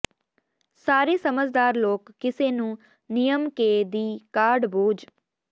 ਸਾਰੇ ਸਮਝਦਾਰ ਲੋਕ ਕਿਸੇ ਨੂੰ ਨਿਯਮ ਕੇ ਦੀ ਕਾਢ ਬੋਝ